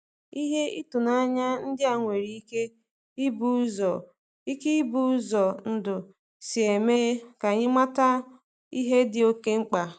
Ihe ịtụnanya ndị a nwere ike ịbụ ụzọ ike ịbụ ụzọ ndụ si eme ka anyị mata ihe dị okeh mkpa